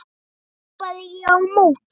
hrópaði ég á móti.